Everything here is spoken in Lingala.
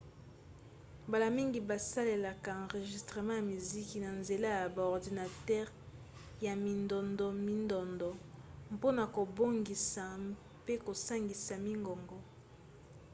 mbala mingi basalaka enregistrement ya miziki na nzela ya ba ordinatere ya mindondomindondo mpona kobongisa mpe kosangisa mingongo